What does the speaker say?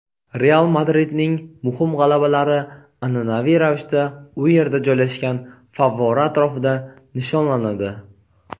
"Real" Madridning muhim g‘alabalari an’anaviy ravishda u yerda joylashgan favvora atrofida nishonlanadi.